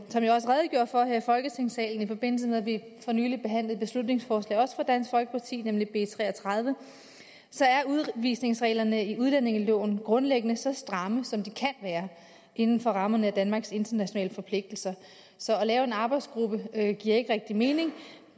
som jeg også redegjorde for her i folketingssalen i forbindelse med at vi for nylig behandlede et beslutningsforslag fra dansk folkeparti nemlig b tre og tredive at udvisningsreglerne i udlændingeloven grundlæggende er så stramme som de kan være inden for rammerne af danmarks internationale forpligtelser så at lave en arbejdsgruppe giver ikke rigtig mening